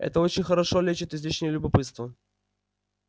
это очень хорошо лечит излишнее любопытство